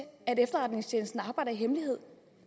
at efterretningstjenesten arbejder i hemmelighed